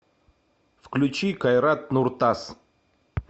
включи кайрат нуртас